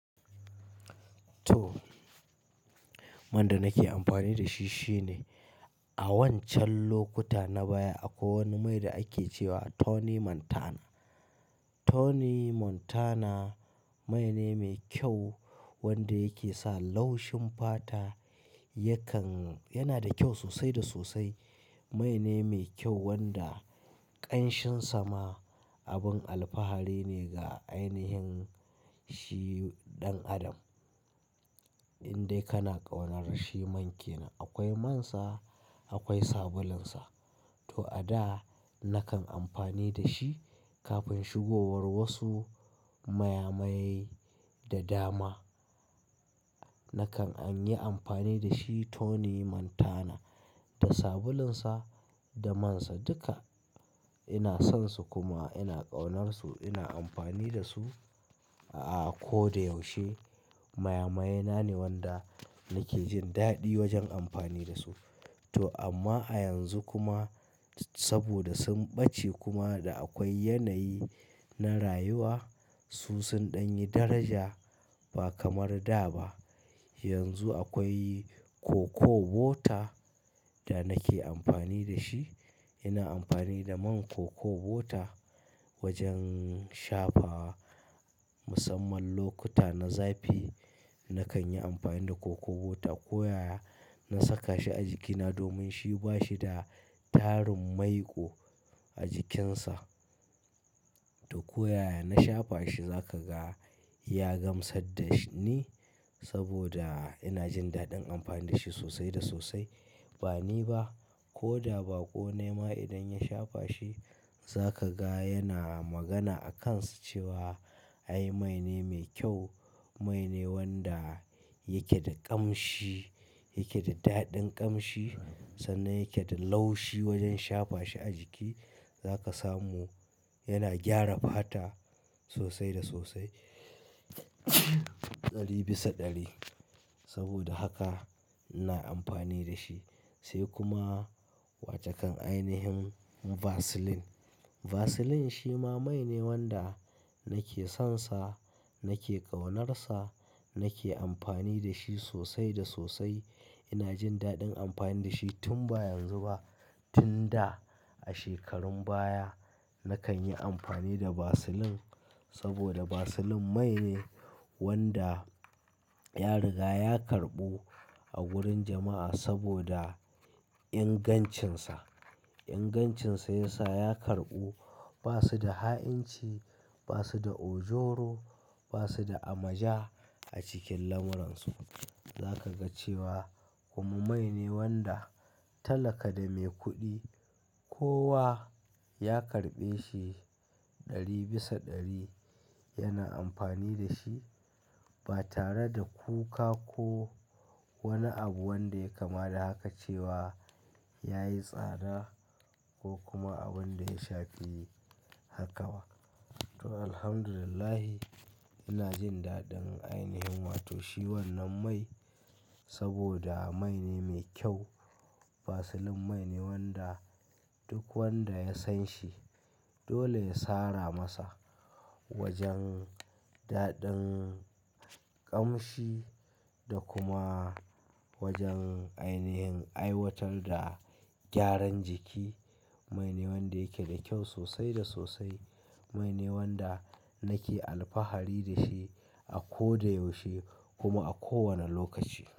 To, man da nake amfani da shi shine a wancan lokuta na baya akwai wani mai da ake ce wa Tony Montana. Tony Montana mai ne mai kyau wanda yake sa laushin fata yakan-- yana da kyau sosai da sosai. Mai ne mai kyau wanda ƙanshin sama abin alfahari ne ga ainihin shi ɗan adam. In dai kana ƙaunar shi man ke nan. Akwai man sa, akwai sabulun sa. To a da nakan amfani da shi kafin shigowar wasu mayamayai da dama. Nakan an yi amfani da shi Tony Montana da sabulun sa da man sa duka ina son su kuma ina ƙaunar su. Ina amfani da su a ko da yaushe. Mayamayena ne wanda nake jin daɗi wajen amfani da su. To amma a yanzu kuma saboda sun bace kuma da akwai yanayi na rayuwa, su sun ɗan yi daraja ba kamar da ba. Yanzu akwai cocoa butter da nake amfani da shi. Ina amfani da man cocoa butter wajen shafa. Musamman lokuta na zafi nakan yi amfani da cocoa butter. Ko yaya na saka shi a jikina domin shi ba shi da tarin maiƙo a jikinsa. To ko yaya na shafa shi za ka ga ya gamsar da ni saboda ina jin daɗin amfani da shi sosai da sosai. Ba ni ba ko da baƙo nayi ma idan ya shafa shi, za ka ga yana magana a kan sa cewa, "Ai, mai ne mai kyau." Mai ne wanda yake da ƙamshi, yake da daɗin ƙamshi sannan yake da laushi wajen shafa shi a jiki. Za ka samu yana gyara fata sosai da sosai. Ɗari bisa ɗari. Saboda haka ina amfani da shi. Sai kuma watakan ainihin Vaseline. Vaseline shi ma mai ne wanda nake son sa, nake ƙaunar sa, nake amfani da shi sosai da sosai. Ina jin daɗin amfani da shi tun ba yanzu ba. Tun da a shekarun baya nakan yi amfani da Vaseline saboda Vaseline mai ne wanda ya riga ya karɓu a gurin jama'a saboda ingancinsa. Ingancinsa ya sa ya karɓu. Ba su da ha'inci, ba su da ojoro, ba su da amaja a cikin lamuransu. Za ka ga cewa kuma mai ne wanda talaka da mai kuɗi kowa ya karɓe shi. Ɗari bisa ɗari yana amfani da shi ba tare da kuka ko wani abu wanda ya kama da haka cewa ya yi tsada ko kuma abun da ya shafi haka ba. To, alhamdulillah ina jin daɗin ainihin wato shi wannan mai saboda mai ne mai kyau. Vaseline mai ne wanda duk wanda ya san shi dole ya sara masa wajen daɗin ƙamshi da kuma wajen ainihin aiwatar da gyaran jiki. Mai ne wanda yake da kyau sosai da sosai. Mai ne wanda nake alfahari da shi a ko da yaushe kuma a kowane lokaci.